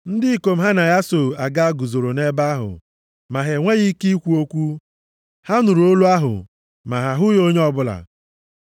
Ndị ikom ha na ya so aga guzoro nʼebe ahụ, ma ha enweghị ike ikwu okwu. Ha nụrụ olu ahụ, ma ha ahụghị onye ọbụla.